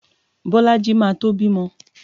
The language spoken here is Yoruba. Bolaji máa tó bímọ.